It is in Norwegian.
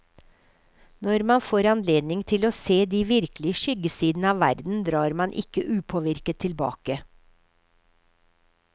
Når man får anledning til å se de virkelige skyggesidene av verden, drar man ikke upåvirket tilbake.